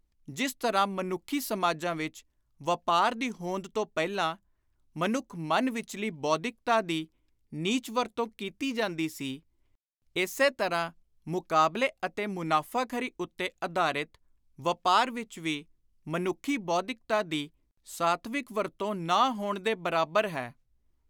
ਜਿਸ ਤਰ੍ਹਾਂ ਮਨੁੱਖੀ ਸਮਾਜਾਂ ਵਿਚ ਵਾਪਾਰ ਦੀ ਹੋਂਦ ਤੋਂ ਪਹਿਲਾਂ ਮਨੁੱਖੀ ਮਨ ਵਿਚਲੀ ਬੌਧਿਕਤਾ ਦੀ ਨੀਚ ਵਰਤੋਂ ਕੀਤੀ ਜਾਂਦੀ ਸੀ, ਇਸੇ ਤਰ੍ਹਾਂ ਮੁਕਾਬਲੇ ਅਤੇ ਮੁਨਾਫ਼ਾਖ਼ਰੀ ਉੱਤੇ ਆਧਾਰਿਤ ਵਾਪਾਰ ਵਿਚ ਵੀ ਮਨੁੱਖੀ ਬੌਧਿਕਤਾ ਦੀ ਸਾਤਵਿਕ ਵਰਤੋਂ ਨਾ ਹੋਣ ਦੇ ਬਰਾਬਰ ਹੈ।